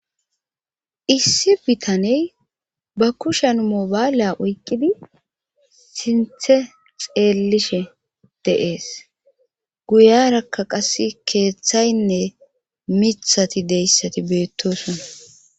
issi bitaney ba kushen mobaalya oyqqidi sinthe xeellishe deees guyarakka qas keeththaynne mithati deyssati beettosona